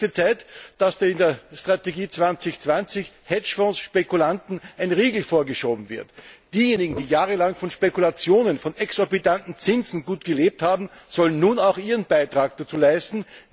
Es ist höchste Zeit, dass in der Strategie 2020 Hedgefonds Spekulanten ein Riegel vorgeschoben wird. Diejenigen, die jahrelang von Spekulationen, von exorbitanten Zinsen gut gelebt haben, sollen nun auch einen Beitrag leisten.